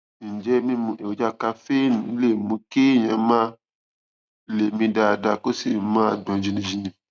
ǹjẹ mímu èròjà kaféènì lè mú kéèyàn má lè mí dáadáa kó sì máa gbọn jìnnìjìnnì